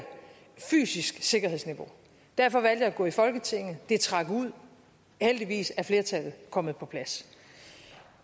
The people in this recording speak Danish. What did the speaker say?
fysisk sikkerhedsniveau derfor valgte jeg at gå i folketinget det trak ud men heldigvis er flertallet kommet på plads